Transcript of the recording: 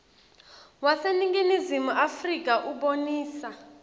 waseningizimu afrika ubonisa